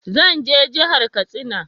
Zan je jahar Katsina